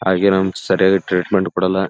ಹಾಗೆ ನಮ್ಗ್ ಸರಿಯಾಗಿ ಟ್ರೀಟ್ಮೆಂಟ್ ಕೊಡಲ್ಲ --